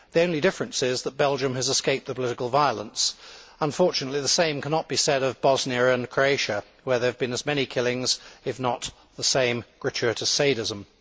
The only difference is that Belgium has escaped the political violence. Unfortunately, the same cannot be said of Bosnia and Croatia where there have been as many killings, if not the same gratuitous sadism.